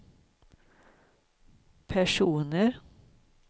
personer